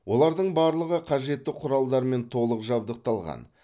олардың барлығы қажетті құралдармен толық жабдықталған